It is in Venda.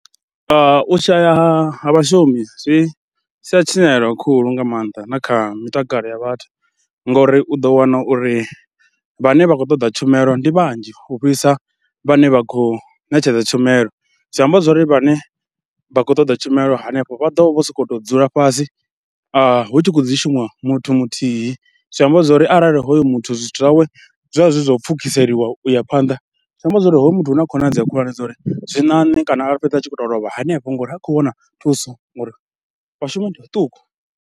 U shaya ha vhashumi zwi sia tshinyalelo khulu nga maanḓa na kha mitakalo ya vhathu ngauri u ḓo wana uri vhane vha khou ṱoḓa tshumelo ndi vhanzhi u fhisa vhane vha khou ṋetshedza tshumelo, zwi amba zwo ri vhane vha khou ṱoḓa tshumelo hanefho vha ḓo vho sokou to dzula fhasi hu tshi khou dzi shumisa muthu muthihi. Zwi amba zwo ri arali hoyo muthu zwithu zwawe zwa zwi zwo pfhukiseliwa u ya phanḓa, zwi amba zwo ri hoyo muthu hu na khonadzeo khulwane dza uri zwi ṋaṋe kana a fhedza a tshi khou to lovha hanefho ngauri ha khou wana thuso ngori vhashumi ndi vhaṱuku.